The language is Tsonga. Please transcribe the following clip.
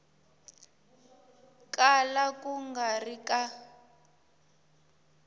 kala ku nga ri ka